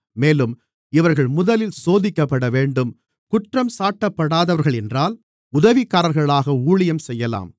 மேலும் இவர்கள் முதலில் சோதிக்கப்படவேண்டும் குற்றஞ்சாட்டப்படாதவர்களென்றால் உதவிக்காரர்களாக ஊழியம் செய்யலாம்